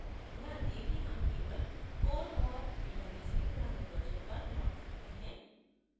ध्यान दें कि हम केवल core औऱ database के पुराने version पर लौट सकते हैं